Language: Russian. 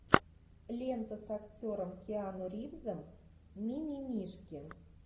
лента с актером киану ривзом ми ми мишки